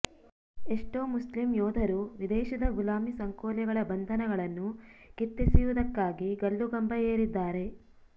ಎಷ್ಟೋ ಮುಸ್ಲಿಂ ಯೋಧರು ವಿದೇಶದ ಗುಲಾಮಿ ಸಂಕೋಲೆಗಳ ಬಂಧನಗಳನ್ನು ಕಿತ್ತೆಸೆಯುವುದಕ್ಕಾಗಿ ಗಲ್ಲು ಗಂಬ ಏರಿದ್ದಾರೆ